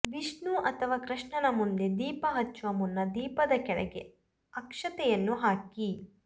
ವಿಷ್ಣು ಅಥವಾ ಕೃಷ್ಣನ ಮುಂದೆ ದೀಪ ಹಚ್ಚುವ ಮುನ್ನ ದೀಪದ ಕೆಳಗೆ ಅಕ್ಷತೆಯನ್ನು ಹಾಕಿ